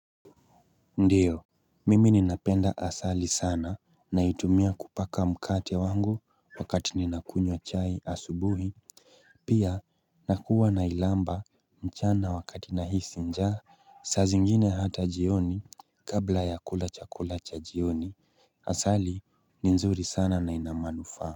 Ndiyo, mimi ni napenda asali sana na itumia kupaka mkate wangu wakati ni nakunywa chai asubuhi Pia, nakuwa na ilamba mchana wakati nahisi nja saa zingine hatajioni kabla ya kula chakula cha jioni. Asali ninzuri sana na ina manufaa.